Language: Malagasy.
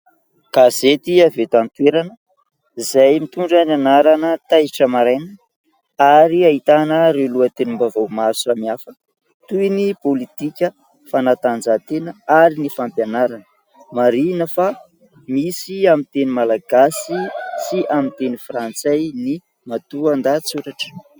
Gazety avy eto an-toerana izay mitondra ny anarana Taitra maraina ary ahitana ireo lohatenim-bavao maro samihafa toy ny pôlitika, fanatanjahatena ary ny fampianarana. Marihina fa misy amin'ny teny malagasy sy amin'ny teny frantsay ny matoan-dahatsoratra.